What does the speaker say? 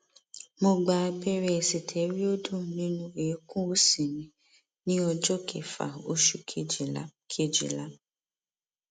mo gba abẹrẹ sitẹriọdu nínú eékún òsì mi ní ọjọ kẹfà oṣù kejìlá kejìlá